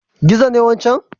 Gizo ne wancan?